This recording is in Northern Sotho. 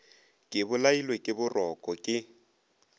ke bolailwe ke boroko ke